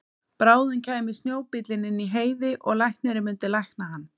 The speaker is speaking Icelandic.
Bráðum kæmi snjóbíllinn inn í Heiði og læknirinn myndi lækna hann.